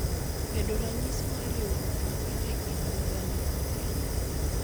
bedo ranyisi mar riwruok makende e kind Uganda kod Kenya.